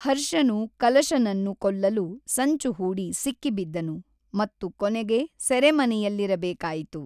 ಹರ್ಷನು ಕಲಶನನ್ನು ಕೊಲ್ಲಲು ಸಂಚು ಹೂಡಿ ಸಿಕ್ಕಿಬಿದ್ದನು ಮತ್ತು ಕೊನೆಗೆ ಸೆರೆಮನೆಯಲ್ಲಿರಬೇಕಾಯಿತು.